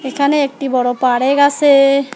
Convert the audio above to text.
এখানে একটি বড়ো পারেক আছে।